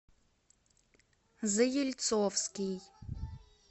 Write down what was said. заельцовский